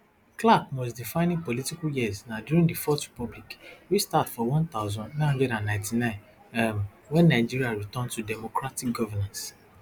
clark most defining political years na during di fourth republic wey start for one thousand, nine hundred and ninety-nine um wen nigeria return to democratic governance